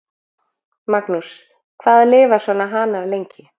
Magnús: Hvað lifa svona hanar lengi?